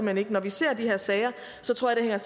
hen ikke når vi ser de her sager tror jeg